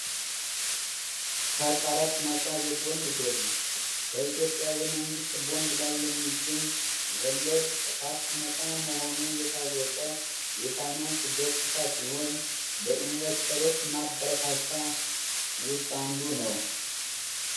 ከቀረጥ ነጻ የቦንድ ገቢ በኢትዮጵያ የመንግስት ቦንድ ላይ የሚገኝ ወለድ ከታክስ ነፃ መሆኑ የታወቀ የፋይናንስ ገጽታ ሲሆን፤ ለኢንቨስትሮች ማበረታቻ ውስጥ አንዱ ነው።